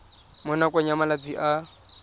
mo nakong ya malatsi a